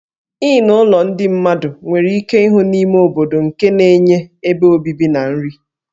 Inn ụlọ ndị mmadụ nwere ike ịhụ n'ime obodo nke na-enye ebe obibi na nri.